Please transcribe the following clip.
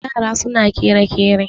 yara suna kere-kere